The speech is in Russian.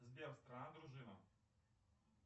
сбер страна дружина